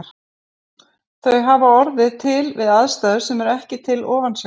Þau hafa orðið til við aðstæður sem eru ekki til ofansjávar.